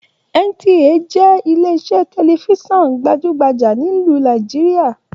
NTA jẹ ilè iṣẹ tẹlifísàn gbajugbaja nílu Nàìjíríà.